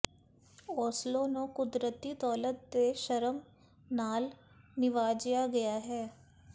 Oslo ਨੂੰ ਕੁਦਰਤੀ ਦੌਲਤ ਦੇ ਸ਼ਰਮ ਨਾਲ ਨਿਵਾਜਿਆ ਗਿਆ ਹੈ